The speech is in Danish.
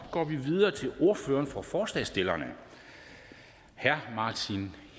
går vi videre til ordføreren for forslagsstillerne herre martin